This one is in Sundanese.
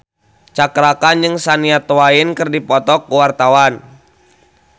Cakra Khan jeung Shania Twain keur dipoto ku wartawan